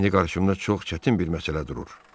İndi qarşımda çox çətin bir məsələ durur.